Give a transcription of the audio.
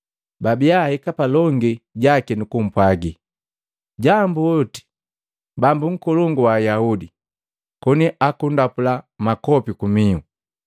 Babiya ahika palongi jaki nukupwaaga, “Jambuoti! Bambu Nkolongu wa Ayaudi!” Koni akundapula makopi kumihu.